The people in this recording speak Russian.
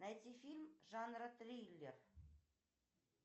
найти фильм жанра триллер